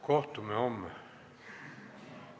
Kohtume homme.